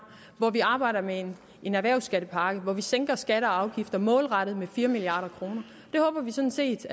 hvor vi arbejder med en erhvervsskattepakke hvor vi sænker skatter og afgifter målrettet med fire milliard kroner det håber vi sådan set